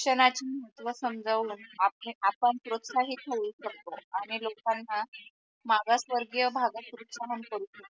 शिक्षणाचे महत्व समजवल आपण प्रोत्साहित होऊ शकतो आणि लोकाना मागासवर्गीय भागात प्रोत्साहन करू शकतो.